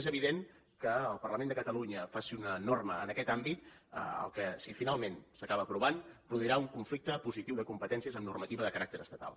és evident que el parlament de catalunya faci una norma en aquest àmbit si finalment s’acaba aprovant produirà un conflicte positiu de competències amb normativa de caràcter estatal